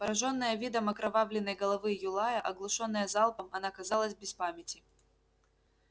поражённая видом окровавленной головы юлая оглушённая залпом она казалась без памяти